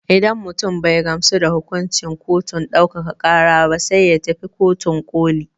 Idan mutum bai gamsu da hukuncin kotun ɗaukaka ƙara ba sai ya tafi kotun ƙoli.